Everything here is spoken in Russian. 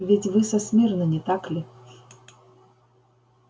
ведь вы со смирно не так ли